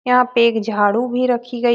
यहाँ पे एक झाड़ू भी रखी गई --